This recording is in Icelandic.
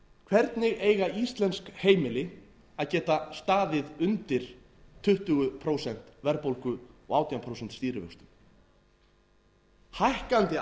hvernig eiga íslensk heimili að geta staðið undir tuttugu prósent verðbólgu og átján prósent stýrivöxtum hækkandi